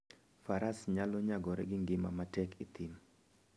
Faras nyalo nyagore gi ngima matek e thim.